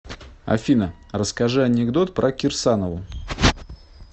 афина расскажи анекдот про кирсанову